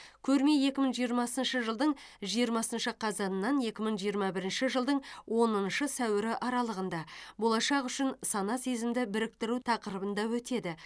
көрме екі мың жиырмасыншы жылдың жиырмасыншы қазанынан екі мың жиырма бірінші жылдың оныншы сәуірі аралығында болашақ үшін сана сезімді біріктіру тақырыбында өтеді